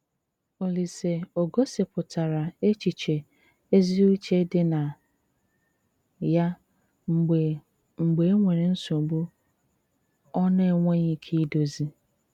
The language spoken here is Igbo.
Òlíse o gósípụtárá échichè ézí ùché dí ná yá mgbè mgbè énwéré nsògbu ọ́ ná-énweghị íké ídòzí?